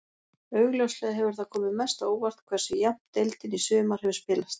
Augljóslega hefur það komið mest á óvart hversu jafnt deildin í sumar hefur spilast.